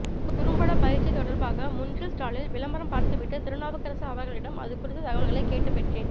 குறும்பட பயிற்சி தொடர்பாக முன்றில் ஸ்டாலில் விளம்பரம் பார்த்து விட்டு திருநாவுக்கரசு அவர்களிடம் அது குறித்த தகவல்கள் கேட்டு பெற்றேன்